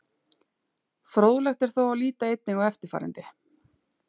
Fróðlegt er þó að líta einnig á eftirfarandi.